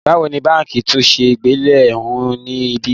Báwo ni báǹkì tún ṣe gbilẹ̀ hu ni ibí?